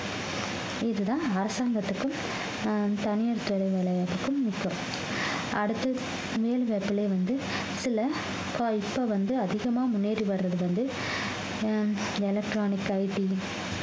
இதுதான் அரசாங்கத்துக்கும் ஆஹ் தனியார் வேலைவாய்ப்புகளுக்கும் முக்கியம் அடுத்து மேல் வந்து இதுல இப்பா இப்ப வந்து அதிகமா முன்னேறி வர்றது வந்து